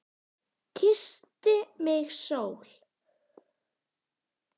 Kyssti mig sól.